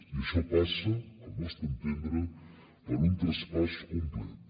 i això passa al nostre entendre per un traspàs complet